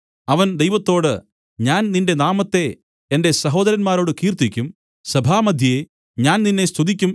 അവന്‍ ദൈവത്തോട് ഞാൻ നിന്റെ നാമത്തെ എന്റെ സഹോദരന്മാരോട് കീർത്തിക്കും സഭാമദ്ധ്യേ ഞാൻ നിന്നെ സ്തുതിക്കും